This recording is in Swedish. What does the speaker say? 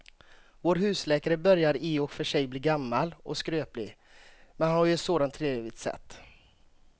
Vår husläkare börjar i och för sig bli gammal och skröplig, men han har ju ett sådant trevligt sätt!